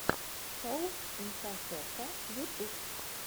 шоу инфасотка ютуб